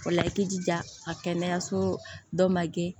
O la i jija a kɛnɛyaso dɔ ma gɛn